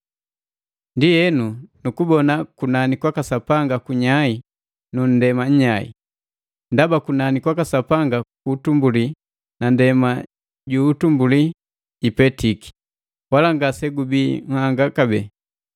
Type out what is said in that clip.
Ndienu, nikubona kunani kwaka Sapanga kunyai nu nndema nnyai. Ndaba kunani kwaka Sapanga kuutumbuli na ndema ju utumbuli ipetiki, wala ngase gubii nhanga kabee.